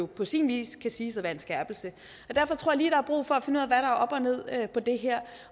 på sin vis kan siges at være en skærpelse derfor tror lige er brug for at finde er op og ned på det her